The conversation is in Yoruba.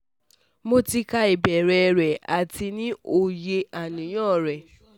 Mo ti ka ibeere re ati ni oye aniyan re